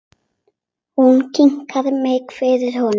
Hún kynnti mig fyrir honum.